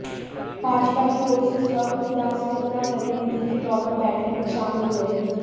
भाजपा की ओर से स्वपन दासगुप्ता प्रतिनिधि के तौर पर बैठक में शामिल हुए